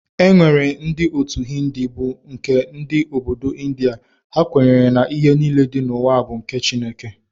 E nwere ndị otu Hindi bụ nke ndị Obodo India, ha kwenyere na ihe niile dị n'ụwa bụ nke Chukwu.